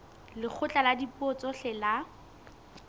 lekgotla la dipuo tsohle la